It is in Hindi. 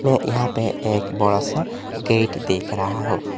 यहां पे एक बड़ा सा गेट देख रहा हूं।